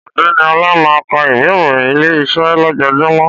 Ọ̀gbẹ́ni Ọla máa ń ka ìwé ìròyìn Ilé-iṣẹ́ lójoojúmọ́